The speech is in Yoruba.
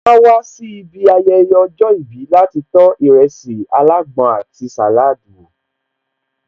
Áá wá sí ibi ayẹyẹ ọjọ́ ìbí láti tó ìrẹsì alágbọn àti salad wo